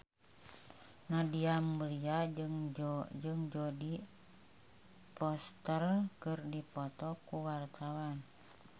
Nadia Mulya jeung Jodie Foster keur dipoto ku wartawan